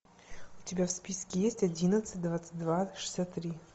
у тебя в списке есть одиннадцать двадцать два шестьдесят три